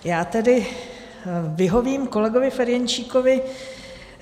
Já tedy vyhovím kolegovi Ferjenčíkovi.